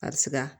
A bɛ siga